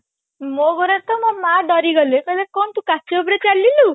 ମୋ ଘରେ ତ ମୋ ମା ଡରିଗଲେ କହିଲେ କଣ ତୁ କାଚ ଉପରେ ଚାଲିଲୁ